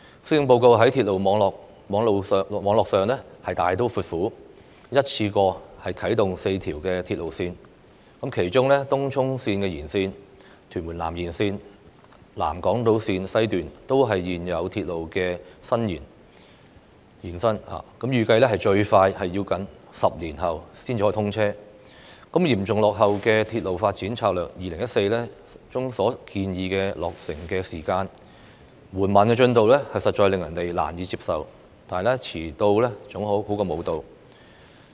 施政報告在鐵路網絡上大刀闊斧，一次性啟動4條鐵路線，其中東涌綫延綫、屯門南延綫、南港島綫西段均是現有鐵路線的延伸，預計最快要10年後才通車，嚴重落後於《鐵路發展策略2014》中所建議的落成時間，緩慢的工程進度實在令人難以接受，但遲到總較沒到的好。